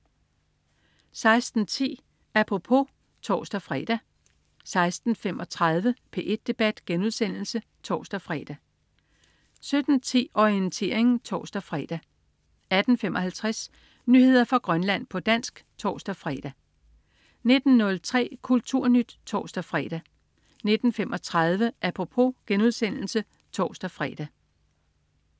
16.10 Apropos (tors-fre) 16.35 P1 debat* (tors-fre) 17.10 Orientering (tors-fre) 18.55 Nyheder fra Grønland, på dansk (tors-fre) 19.03 KulturNyt (tors-fre) 19.35 Apropos* (tors-fre)